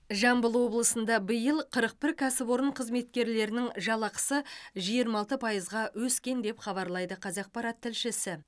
жамбыл облысында биыл қырық бір кәсіпорын қызметкерлерінің жалақысы жиырма алты пайызға өскен деп хабарлайды қазақпарат тілшісі